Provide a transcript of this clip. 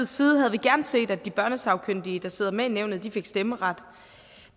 side havde vi gerne set at de børnesagkyndige der sidder med i nævnet fik stemmeret